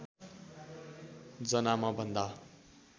जना म भन्दा